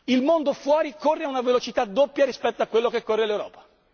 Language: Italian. Il mondo fuori corre a una velocità doppia rispetto a quella che corre l'Europa.